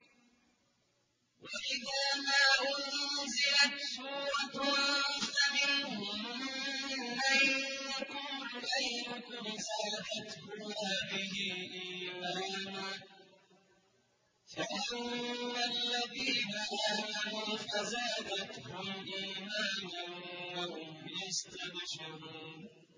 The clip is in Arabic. وَإِذَا مَا أُنزِلَتْ سُورَةٌ فَمِنْهُم مَّن يَقُولُ أَيُّكُمْ زَادَتْهُ هَٰذِهِ إِيمَانًا ۚ فَأَمَّا الَّذِينَ آمَنُوا فَزَادَتْهُمْ إِيمَانًا وَهُمْ يَسْتَبْشِرُونَ